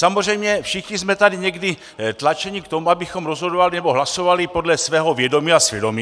Samozřejmě všichni jsme tady někdy tlačeni k tomu, abychom rozhodovali nebo hlasovali podle svého vědomí a svědomí.